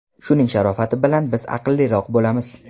Shuning sharofati bilan biz aqlliroq bo‘lamiz.